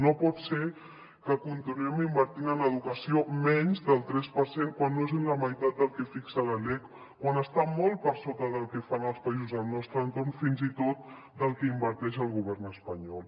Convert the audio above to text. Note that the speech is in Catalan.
no pot ser que continuem invertint en educació menys del tres per cent quan no és ni la meitat del que fixa la lec quan està molt per sota del que fan els països del nostre entorn fins i tot del que inverteix el govern espanyol